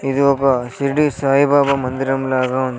ఇది ఒక షిర్డీ సాయిబాబా మందిరం లాగా ఉంది.